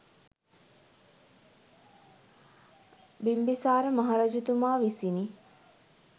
බිම්බිසාර මහරජතුමා විසිනි.